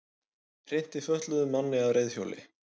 Hrinti fötluðum manni af reiðhjóli